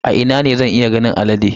A ina ne zan iya ganin alade?